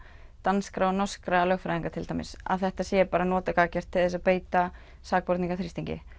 danskra og norskra lögfræðinga til dæmis að þetta sé notað gagngert til að beita sakborninga þrýstingi